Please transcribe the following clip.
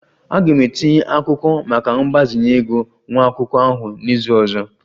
Aga m etinye akwụkwọ maka mgbazinye ego nwa akwụkwọ ahụ n'izu ọzọ